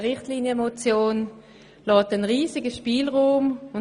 Eine Richtlinienmotion lässt einen riesigen Spielraum offen.